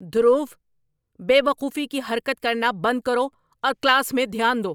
دھرو، بے وقوفی کی حرکت کرنا بند کرو اور کلاس میں دھیان دو!